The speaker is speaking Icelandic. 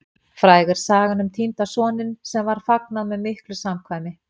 Fræg er sagan um týnda soninn, sem var fagnað með miklu samkvæmi.